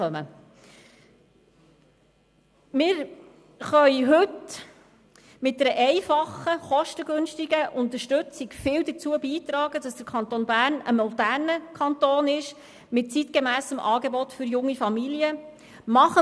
Wir können heute mit einer einfachen und kostengünstigen Unterstützung viel dazu beitragen, dass der Kanton Bern ein moderner Kanton mit einem zeitgemässen Angebot für junge Familien ist.